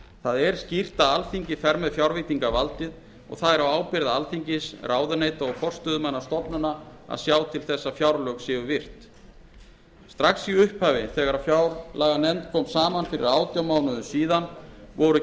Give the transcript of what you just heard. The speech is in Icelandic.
það er skýrt að alþingi fer með fjárveitingavaldið og það er á ábyrgð alþingis ráðuneyta og forstöðumanna stofnana að sjá til þess að fjárlögin séu virt strax í upphafi þegar núverandi fjárlaganefnd kom saman fyrir átján mánuðum síðan voru